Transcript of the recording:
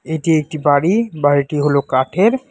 এটি একটি বাড়ি বাড়িটি হল কাঠের।